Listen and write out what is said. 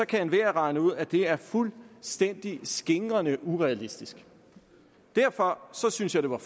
kan enhver regne ud at det er fuldstændig skingrende urealistisk derfor synes jeg det var